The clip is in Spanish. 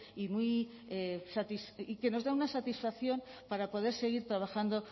y que nos da una satisfacción para poder seguir trabajando